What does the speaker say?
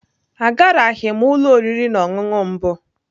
Agaraghị m ụlọ oriri na ọṅụṅụ mbụ.